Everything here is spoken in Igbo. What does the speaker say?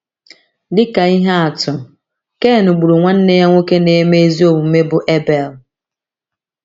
Dị ka ihe atụ, Ken gburu nwanne ya nwoke na - eme ezi omume bụ́ Ebel.